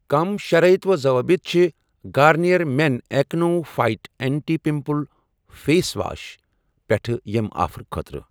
کٔمۍ شرائط و ضوابط چھِ Garnier men acno fight anti pimple face wash پٮ۪ٹھ ییٚمہِ آفر خٲطرٕ؟